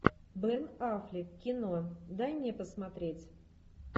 бен аффлек кино дай мне посмотреть